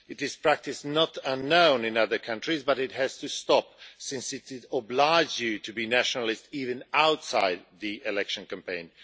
This practice is not unknown in other countries, but it has to stop since it obliges you to be nationalist even outside the election campaign.